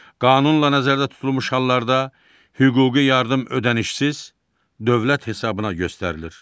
Qanunla nəzərdə tutulmuş hallarda hüquqi yardım ödənişsiz, dövlət hesabına göstərilir.